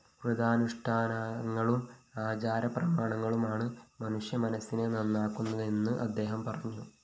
വ്രതാനുഷ്ഠാനങ്ങളും ആചാരപ്രമാണങ്ങളുമാണ് മനുഷ്യമനസിനെ നന്നാക്കുന്നതെന്നും അദ്ദേഹം പറഞ്ഞു